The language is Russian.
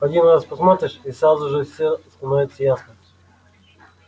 один раз посмотришь и сразу же все становится ясно